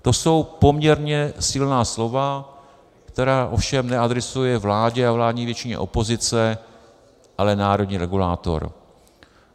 To jsou poměrně silná slova, která ovšem neadresuje vládě a vládní většině opozice, ale národní regulátor.